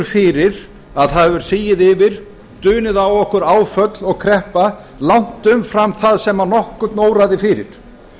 fyrir að það hefur sigið yfir dunið á okkur áföll og kreppa langt umfram það sem nokkurn óraði fyrir